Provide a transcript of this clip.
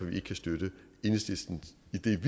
vi ikke kan støtte enhedslisten